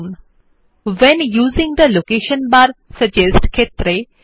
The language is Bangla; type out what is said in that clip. change your when using the location bar suggest setting to history and bookmarks